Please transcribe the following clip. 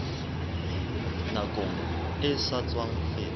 nakong e sa tswa feta